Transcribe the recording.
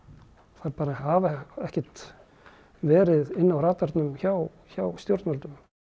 þær bara hafa ekkert verið inni á radarnum hjá hjá stjórnvöldum